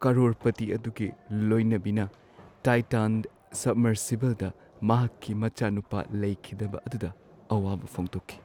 ꯀꯔꯣꯔꯄꯇꯤ ꯑꯗꯨꯒꯤ ꯂꯣꯏꯅꯕꯤꯅ ꯇꯥꯏꯇꯥꯟ ꯁꯕꯃꯔꯁꯤꯕꯜꯗ ꯃꯍꯥꯛꯀꯤ ꯃꯆꯥꯅꯨꯄꯥ ꯂꯩꯈꯤꯗꯕ ꯑꯗꯨꯗ ꯑꯋꯥꯕ ꯐꯣꯡꯗꯣꯛꯈꯤ꯫